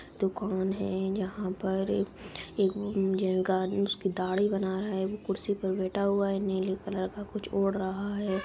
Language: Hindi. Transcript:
दुकान है यहां पर एगो गा उसकी दाढ़ी बना रहा है वो कुर्सी पर बैठा हुआ है नीले कलर का कुछ ओढ़ रहा है।